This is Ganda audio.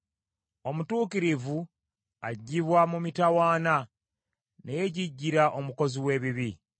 Omutuukirivu aggyibwa mu mitawaana, naye jjijjira omukozi w’ebibi.